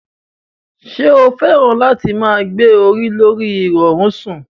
Ṣé o fẹ́ràn láti máa gbé orí lorí ìrọ̀rí sùn?